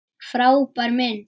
Frábær mynd!